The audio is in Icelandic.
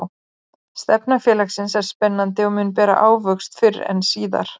Stefna félagsins er spennandi og mun bera ávöxt fyrr en síðar.